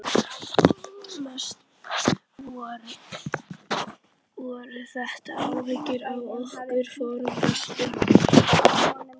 Mest voru þetta áhyggjur af okkar formföstu